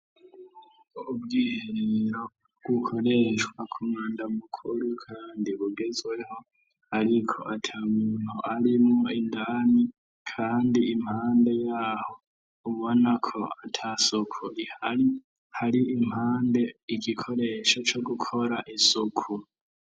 Ubwiherero bukoreshwa ku mwanda mukuru kandi bugezweho, ariko ata muntu arimwo indani, kandi impande ya ho ubona ko ata suku rihari, hari impande igikoresho co gukora isuku.